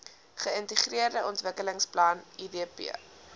geintegreerde ontwikkelingsplan idp